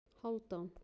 Hálfdan